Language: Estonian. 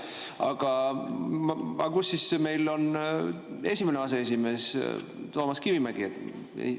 Aga kus on meil siis esimene aseesimees Toomas Kivimägi?